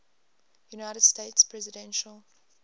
united states presidential